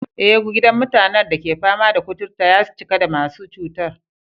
Eh, gidan mutanen da ke fama da kuturta ya cika da masu cutar.